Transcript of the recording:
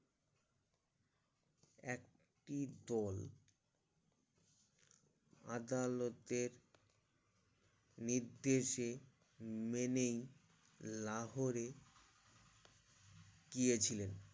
একটি দোল আদালতের নির্দেশে মেনেই লাহোরে গিয়ে ছিলেন